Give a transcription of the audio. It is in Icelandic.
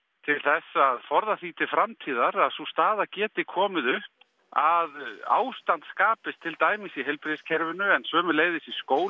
til að forða því til framtíðar að sú staða geti komið upp að ástand skapist til dæmis í heilbrigðiskerfinu en sömuleiðis í skólum